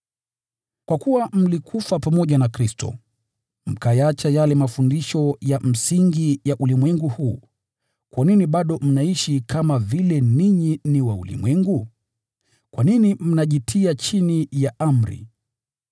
Kwa kuwa mlikufa pamoja na Kristo, mkayaacha yale mafundisho ya msingi ya ulimwengu huu, kwa nini bado mnaishi kama ninyi ni wa ulimwengu? Kwa nini mnajitia chini ya amri: